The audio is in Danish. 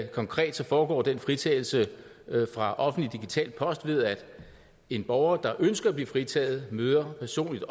konkret foregår den fritagelse fra offentlig digital post ved at en borger der ønsker at blive fritaget møder personligt